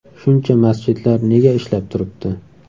Shuncha masjidlar nega ishlab turibdi?